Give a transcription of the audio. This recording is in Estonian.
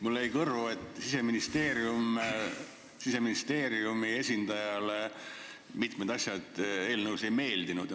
Mulle jäi kõrvu, et Siseministeeriumi esindajale mitmed asjad eelnõus ei meeldinud.